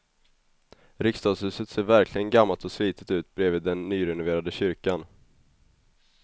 Riksdagshuset ser verkligen gammalt och slitet ut bredvid den nyrenoverade kyrkan.